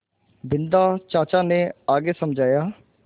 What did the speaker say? बिन्दा चाचा ने आगे समझाया